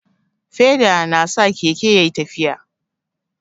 Feda na sa Keke ya ƴi tafiya.